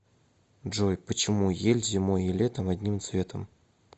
джой почему ель зимой и летом одним цветом